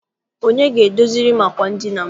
Onye ga- edoziri m àkwà edina m?